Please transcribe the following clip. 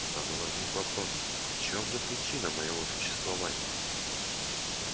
сразу возник вопрос в чём же причина моего существования